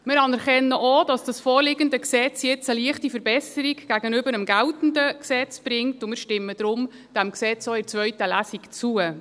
Wir anerkennen auch, dass das vorliegende Gesetz jetzt eine leichte Verbesserung gegenüber dem geltenden Gesetz bringt, und stimmen dem Gesetz daher auch in der zweiten Lesung zu.